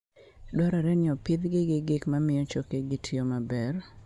Dwarore ni opidhgi gi gik mamiyo chokegi tiyo maber.